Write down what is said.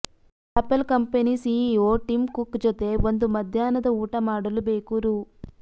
apple company CEO Tim Cook ಜೊತೆ ಒಂದು ಮಧ್ಯಾಹ್ನದ ಊಟ ಮಾಡಲು ಬೇಕು ರೂ